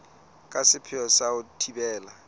ka sepheo sa ho thibela